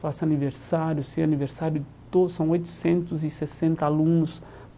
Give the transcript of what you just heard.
Faço aniversário, sei aniversário de to, são oitocentos e sessenta alunos.